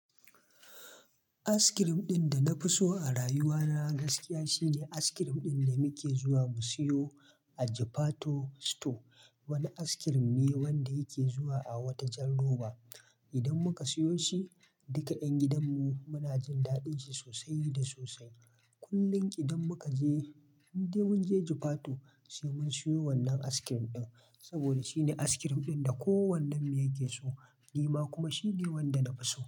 Aiskirim ɗin da na fi so a rayuwa na gaskiya shine aiskirim ɗin da muke zuwa mu siyo a Japato Store. Wani aiskirim ne wanda yake zuwa a wata jan roba. Idan muka siyo shi, duka ƴan gidan mu muna jin daɗin shi sosai da sosai. Kullum idan muka je, idan mun je Japato, sai mun siyo wannan aiskirim ɗin. Saboda shine aiskirim ɗin da kowannen mu ya ke so, ni ma kuma shine wanda na fi so.